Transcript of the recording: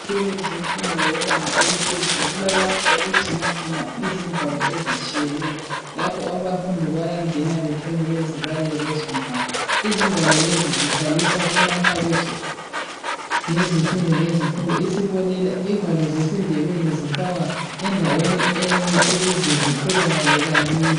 Ezikolo zemfundo yebanga eliphezulu kulalapho okugcinwa khona izingwalo ezitshiyeneyo. Lapho abafundi bayangena betshone bezibalela lezo ngwalo. Izingwalo lezi zihlaliswa kumakhabothi ngezifundo ngezifundo, isibonela izingwalo zesiNdebele zifakwa endaweni enye ukuze zitholakale kalula.